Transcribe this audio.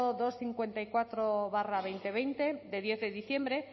doscientos cincuenta y cuatro barra dos mil veinte de diciembre